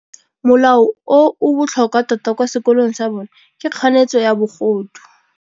Molao o o botlhokwa tota kwa sekolong sa bone ke kganetsô ya bogodu.